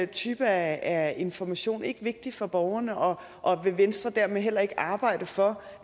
type af information ikke vigtig for borgerne og vil venstre dermed heller ikke arbejde for